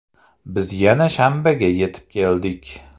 Biz yana shanbaga yetib keldik.